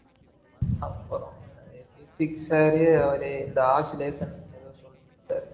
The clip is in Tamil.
அப்பறம் வந்து physics sir அவரு இந்த oscilation சொல்லி குடுத்தாரு